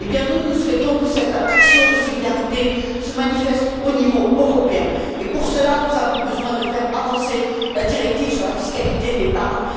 Eh bien nous, nous souhaitons que cette action de solidarité se manifeste au niveau européen et, pour cela, nous avons besoin de faire avancer la directive sur la fiscalité de l'épargne.